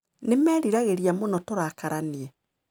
Nĩ meriragĩria mũno turakaranie.